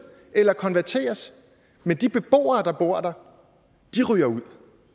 eller konverteres men de beboere der bor der ryger ud